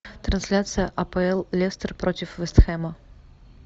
трансляция апл лестер против вест хэма